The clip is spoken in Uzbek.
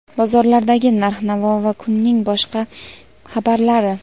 bozorlardagi narx-navo va kunning boshqa xabarlari.